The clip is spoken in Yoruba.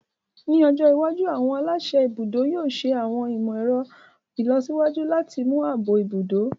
Ní ọjọ́ iwájú, àwọn aláṣẹ ibùdó yóò ṣẹ àwọn ìmọ̀ ẹ̀rọ ìlọsíwájú láti mú ààbò ibùdó